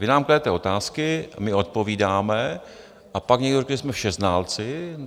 Vy nám kladete otázky, my odpovídáme, a pak někdo řekne, že jsme všeználci.